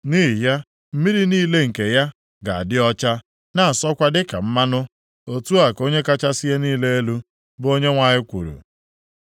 Nʼihi ya, mmiri niile nke ya ga-adị ọcha, na-asọkwa dịka mmanụ. Otu a ka Onye kachasị ihe niile elu, bụ Onyenwe anyị kwuru.